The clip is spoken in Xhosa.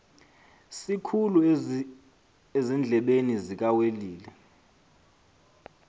sikhulu ezindlebeni zikawelile